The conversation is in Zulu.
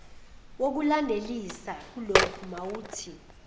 wokulandelisa kuloku wawuthi